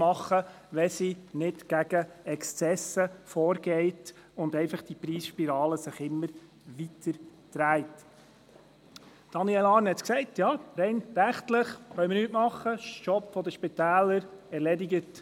Daniel Arn hagt gesagt, wir könnten rechtlich nichts tun, es sei die Aufgabe der Spitäler – erledigt.